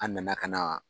An nana ka na